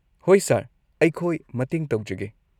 ꯍꯣꯏ ꯁꯔ, ꯑꯩꯈꯣꯏ ꯃꯇꯦꯡ ꯇꯧꯖꯒꯦ꯫